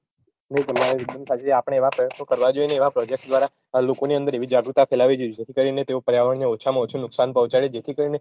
આપણે એવાં પ્રયત્નો કરવાં જોઈએ ને એવાં પ્રોજેક્ટ દ્વારા લોકોની અંદર એવી જાગૃતતા ફેલાવવી જોઈએ જેથી કરીને તેઓ પર્યાવરણને ઓછામાં ઓછું નુકશાન પોહ્ચાડે જેથી કરીને